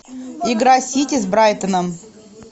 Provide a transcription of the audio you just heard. игра сити с брайтоном